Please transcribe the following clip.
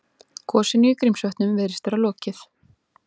Gosinu í Grímsvötnum virðist vera lokið